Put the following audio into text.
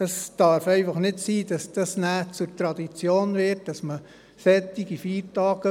Es darf einfach nicht sein, dass es nachher zur Tradition wird, solche Feiertage zu verwenden.